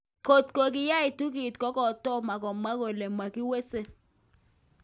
Kotko yaikitun kit, kotoma kemwa kele makiweseng.